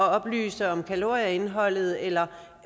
at oplyse om kalorieindholdet eller